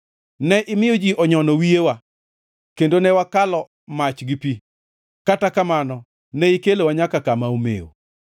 Ne imiyo ji onyono wiyewa; kendo ne wakalo mach gi pi, kata kamano ne ikelowa nyaka kama omew.